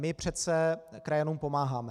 My přece krajanům pomáháme.